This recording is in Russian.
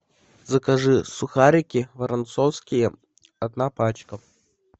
закажи сухарики воронцовские одна пачка